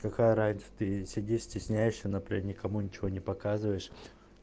какая разница ты сидишь стесняешься например никому ничего не показываешь